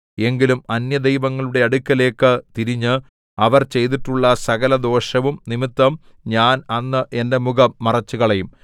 എങ്കിലും അന്യദൈവങ്ങളുടെ അടുക്കലേക്ക് തിരിഞ്ഞ് അവർ ചെയ്തിട്ടുള്ള സകലദോഷവും നിമിത്തം ഞാൻ അന്ന് എന്റെ മുഖം മറച്ചുകളയും